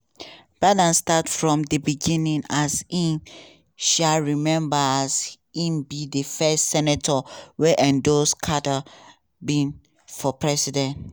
biden start from di beginning as e um remember as e be di first senator wey endorse carter bid for president.